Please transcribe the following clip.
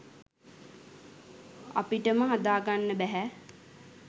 අපිටම හදාගන්න බැහැ